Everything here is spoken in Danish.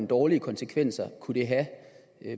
dårlige konsekvenser kunne det have